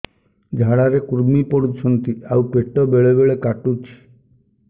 ଝାଡା ରେ କୁର୍ମି ପଡୁଛନ୍ତି ଆଉ ପେଟ ବେଳେ ବେଳେ କାଟୁଛି